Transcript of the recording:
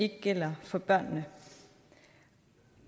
ikke gælder for børnene